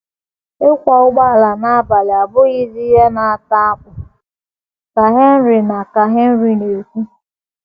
“ Ịkwọ ụgbọala n’abalị abụghịzi ihe na - ata akpụ, ” ka Henry na ka Henry na - ekwu.